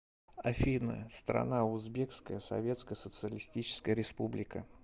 афина страна узбекская советская социалистическая республика